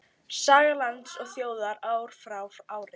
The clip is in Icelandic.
Saga lands og þjóðar ár frá ári.